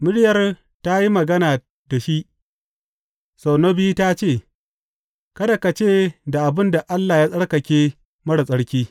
Muryar ta yi magana da shi sau na biyu ta ce, Kada ka ce da abin da Allah ya tsarkake marar tsarki.